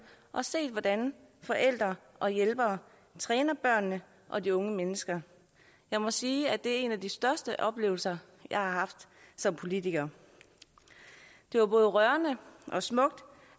og set hvordan forældre og hjælpere træner børnene og de unge mennesker jeg må sige at det er en af de største oplevelser jeg har haft som politiker det var både rørende og smukt